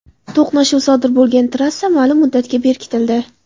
To‘qnashuv sodir bo‘lgan trassa ma’lum muddatga berkitildi.